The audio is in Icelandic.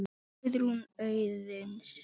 Ykkar, Guðrún Auðuns.